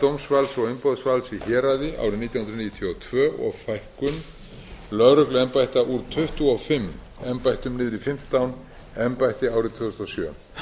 dómsvalds og umboðsvalds í héraði árið nítján hundruð níutíu og tvö og fækkun lögregluembætta úr tuttugu og fimm embættum niður í fimmtán embætti árið tvö þúsund og sjö